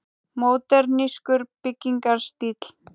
Módernískur byggingarstíll.